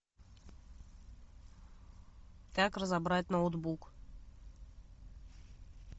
как разобрать ноутбук